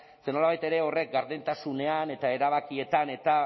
ze nolabait ere horrek gardentasunean eta erabakietan eta